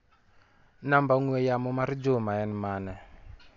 Namba ong'ue yamo mar Juma en manE?